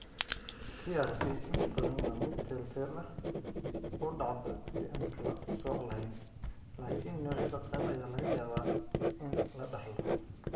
PRP inta badan waa mid teel teel ah (u dhacda si aan kala sooc lahayn) laakiin noocyada qaar ayaa laga yaabaa in la dhaxlo.